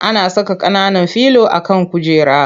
Ana saka ƙananan filo a kan kujera.